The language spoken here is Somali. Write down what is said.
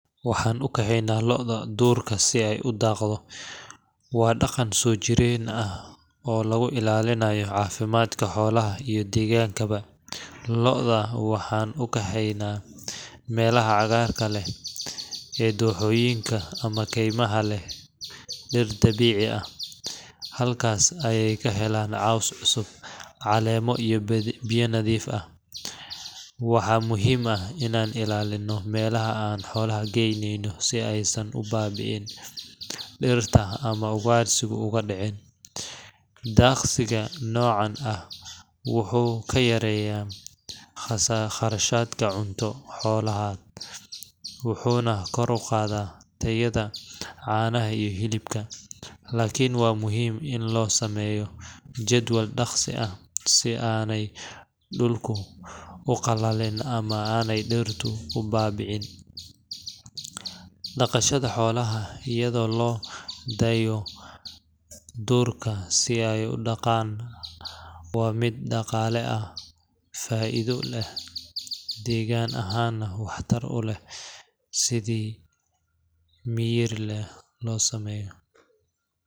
waxaan u kaxeynaa lo’da duurka si ay u daaqdo. Waa dhaqan soo jireen ah oo lagu ilaalinayo caafimaadka xoolaha iyo deegaankaba. Lo’da waxaan u kaxeynaa meelaha cagaarka leh ee dooxooyinka ama kaymaha leh dhir dabiici ah. Halkaas ayey ka helaan caws cusub, caleemo iyo biyo nadiif ah. Waxaa muhiim ah inaan ilaalinno meelaha aan xoolaha geyneyno si aysan u baabi’in dhirta ama ugaadhsigu uga dhicin. Daaqsiga noocaan ah wuxuu kaa yareynayaa kharashka cunto xoolaad, wuxuuna kor u qaadaa tayada caanaha iyo hilibka. Laakiin waa muhiim in loo sameeyo jadwal daaqsi ah si aanay dhulku u qallalin ama aanay dhirtu u baaba’in. Dhaqashada xoolaha iyadoo loo daayo duurka si ay u daaqaan waa mid dhaqaale ahaan faa’iido leh, deegaan ahaanna waxtar u leh haddii si miyir leh loo sameeyo.